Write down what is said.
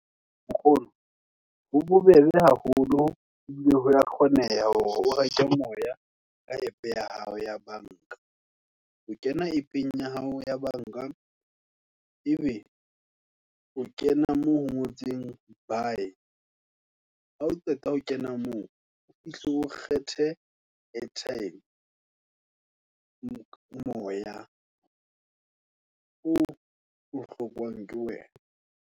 Nkgono, ho bobebe haholo, ebile ho ya kgoneha ho reka moya, ka App ya hao ya banka, o kena Appong ya hao ya banka, ebe o kena moo ho ngotseng buy, ha o qeta ho kena moo, o fihle o kgethe airtime, moya o o hlokwang ke wena.